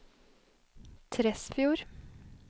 Tresfjord